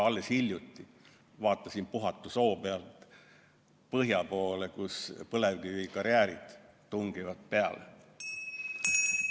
Alles hiljuti vaatasin Puhatu soo pealt põhja poole, kus põlevkivikarjäärid tungivad peale.